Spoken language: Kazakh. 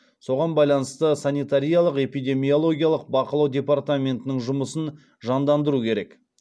соған байланысты санитариялық эпидемиологиялық бақылау департаментінің жұмысын жандандыру керек